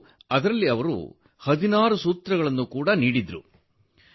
ಮತ್ತು ಅದರಲ್ಲಿ ಅವರು 16 ಸೂತ್ರಗಳನ್ನು ನೀಡಿದ್ದರು